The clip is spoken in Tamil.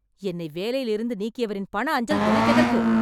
என்னை வேலையிலிருந்து நீக்கியவரின் பண அஞ்சல் எனக்கெதற்கு?